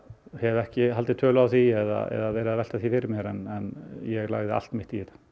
hef ekki haldið tölu á því eða verið að velta því fyrir mér en ég lagði allt mitt í þetta